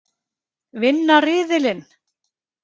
Vinna riðilinn!